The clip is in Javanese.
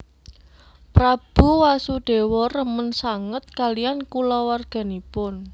Prabu Wasudewa remen sanget kaliyan kulawarganipun